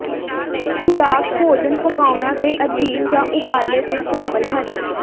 ਖੁਰਾਕ ਭੋਜਨ ਪਕਾਉਣਾ ਦੇ ਅਧੀਨ ਜ ਉਬਾਲੇ ਦੇ ਸ਼ਾਮਲ ਹਨ